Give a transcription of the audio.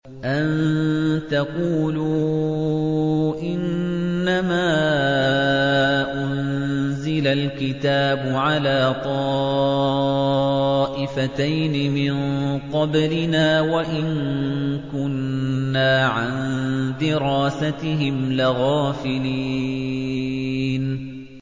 أَن تَقُولُوا إِنَّمَا أُنزِلَ الْكِتَابُ عَلَىٰ طَائِفَتَيْنِ مِن قَبْلِنَا وَإِن كُنَّا عَن دِرَاسَتِهِمْ لَغَافِلِينَ